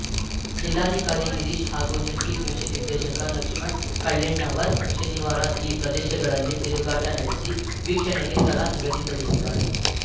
ಜಿಲ್ಲಾಧಿಕಾರಿ ಗಿರೀಶ್‌ ಹಾಗೂ ಜಂಟಿ ಕೃಷಿ ನಿರ್ದೇಶಕ ಲಕ್ಷ್ಮಣ್‌ ಕಳ್ಳೆಣ್ಣವರ್ ಶನಿವಾರ ಈ ಪ್ರದೇಶಗಳಲ್ಲಿ ತಿರುಗಾಟ ನಡೆಸಿ ವೀಕ್ಷಣೆಗೆ ಸ್ಥಳ ನಿಗದಿಪಡಿಸಿದ್ದಾರೆ